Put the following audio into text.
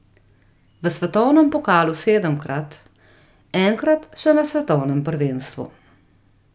V svetovnem pokalu sedemkrat, enkrat še na svetovnem prvenstvu.